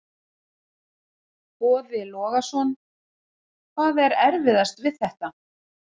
Boði Logason: Hvað er erfiðast við þetta?